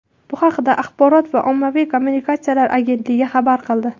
Bu haqda Axborot va ommaviy kommunikatsiyalar agentligi xabar qildi .